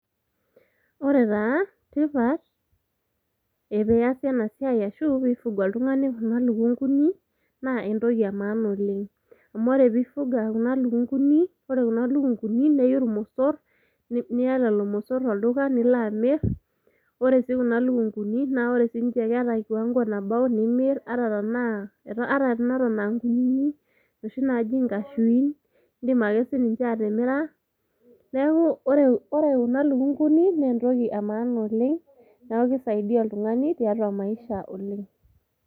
ore taa tipat epeyasi ena siai ashu piifuga oltung'ani kuna lukunguni naa entoki e maana oleng amu ore piifuga kuna lukunguni ore kuna lukunguni neyu irmosorr niya llo mosorr olduka nilo amirr ore sii kuna lukunguni naa ore sinche keeta kiwango nabau nimirr ata tanaa, ata teneton ankunyinyik inoshi naji inkashuin indim ake sininche atimira neeku ore kuna lukunguni nentoki e maana oleng niaku kisaidia oltung'ani tiatua maisha oleng.